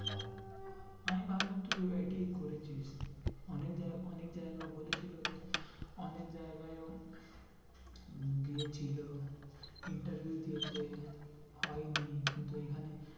আমি ভাবলাম তুই ITI করেছিস। অনেক জায়গা, অনেক জায়গায় বলে ছিলো যে অনেক জায়গায় ও গিয়েছিলো interview দিয়েছে হয়নি। কিন্তু এইখানে